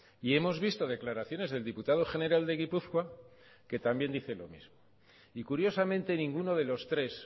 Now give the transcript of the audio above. y hemos visto declaraciones del diputado general de gipuzkoa que también dice lo mismo y curiosamente ninguno de los tres